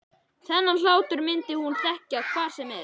Þennan hlátur myndi hún þekkja hvar sem væri.